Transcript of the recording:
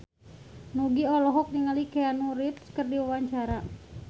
Nugie olohok ningali Keanu Reeves keur diwawancara